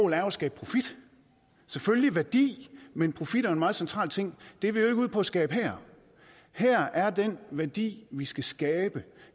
er at skabe profit selvfølgelig værdi men profit er en meget central ting det er vi jo ikke ude på at skabe her her er den værdi vi skal skabe